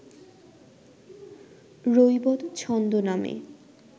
রৈবত ছন্দ নামে